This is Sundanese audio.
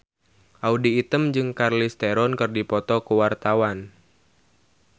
Audy Item jeung Charlize Theron keur dipoto ku wartawan